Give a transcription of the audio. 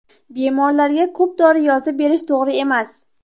Bemorlarga ko‘p dori yozib berish to‘g‘ri emas.